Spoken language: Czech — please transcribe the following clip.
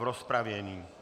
V rozpravě?